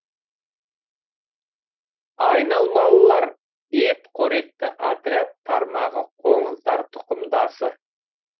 айналмалылар ет қоректі отряд тармағы қоңыздар тұқымдасы